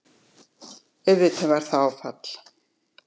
Auðvitað var það áfall.